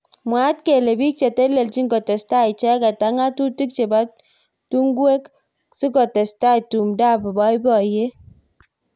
mwaat kele bik cheteleljin kotesetai icheket ak ngatutik chebo tungwek sikotestai tumdo ab boiboyet